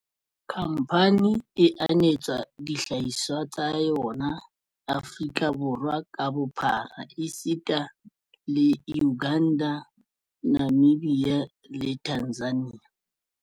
Khamphane e anetsa dihlahiswa tsa yona Aforika Borwa ka bophara esita le Uganda, Namibia le Tanzania.